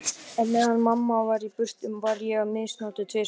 Á meðan mamma var í burtu var ég misnotuð tvisvar.